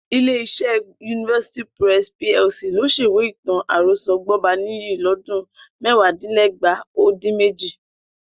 Ilé-iṣẹ́ University Press PLC ló ṣèwé ìtàn-àròsọ Gbọ́baníyì lọ́dún mẹ́wàádínlẹ́gbàá ó dín méjì